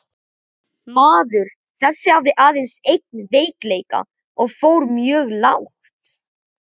Maður þessi hafði aðeins einn veikleika og fór mjög lágt.